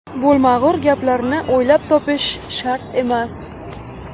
Bo‘lmag‘ur gaplarni o‘ylab topish shart emas.